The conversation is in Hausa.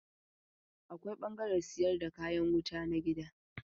Akwai ɓangaren sayar da kayan wuta na gida.